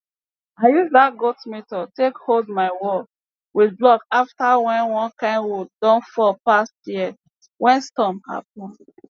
i use dat goat method take hold my wall with blok afta wen one kain wood don fall past year wey storm happen